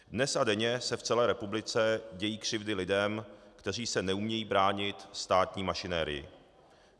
Dnes a denně se v celé republice dějí křivdy lidem, kteří se neumějí bránit státní mašinerii.